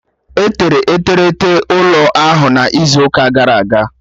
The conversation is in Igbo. Etere eterete ụlọ ahụ n'izu ụka gara aga